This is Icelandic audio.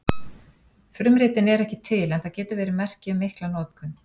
Frumritin eru ekki til en það getur verið merki um mikla notkun.